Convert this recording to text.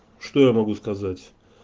что я могу сказать